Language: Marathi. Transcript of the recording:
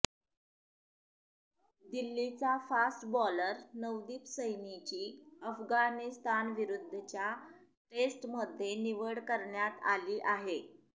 दिल्लीचा फास्ट बॉलर नवदीप सैनीची अफगाणिस्तानविरुद्धच्या टेस्टमध्ये निवड करण्यात आली आहे